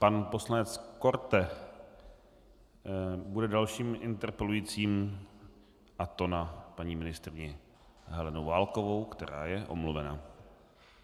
Pan poslanec Korte bude dalším interpelujícím, a to na paní ministryni Helenu Válkovou, která je omluvena.